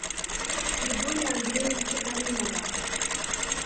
григория андреевича галимова